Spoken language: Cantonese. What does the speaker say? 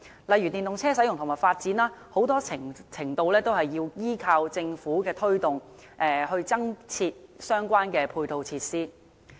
例如電動車的使用和發展，很大程度要依靠政府的推動，以及增設相關的配套設施。